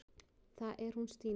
Það er hún Stína.